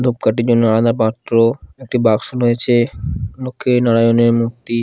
ধূপকাঠির জন্য আলাদা পাত্র একটি বাক্স রয়েছে লক্ষ্মী নারায়ণের মূর্তি ।